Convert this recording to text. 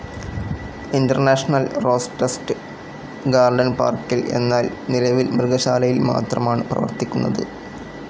International rose test garden പാർക്കിൽ, എന്നാൽ നിലവിൽ മൃഗശാലയിൽ മാത്രമാണ് പ്രവർത്തിക്കുന്നത്.